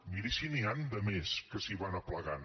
miri si n’hi han de més que s’hi van aplegant